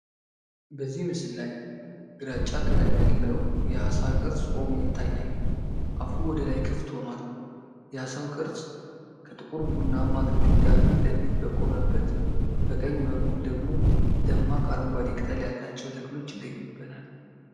በዚህ ምስል ላይ ግራጫ ቀለም ያለው የዓሣ ቅርጽ ቆሞ ይታያል። አፉ ወደ ላይ ክፍት ሆኗል። የዓሣው ቅርጽ ከጥቁር ቡናማ ግድግዳ ፊት ለፊት በቆመበት በቀኝ በኩል ደግሞ ደማቅ አረንጓዴ ቅጠል ያላቸው ተክሎች ይገኙበታል።